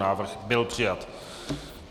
Návrh byl přijat.